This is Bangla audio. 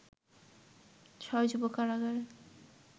ছয় যুবক কারাগারে